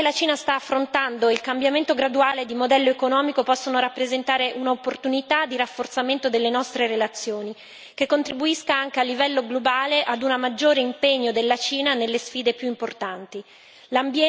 L'evoluzione che la Cina sta affrontando e il cambiamento graduale di modello economico possono rappresentare un'opportunità di rafforzamento delle nostre relazioni, che contribuisca anche a livello globale a un maggiore impegno della Cina nelle sfide più importanti.